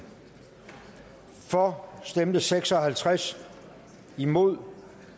for stemte seks og halvtreds imod